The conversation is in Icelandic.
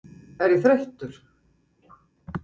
Er ég þreyttur?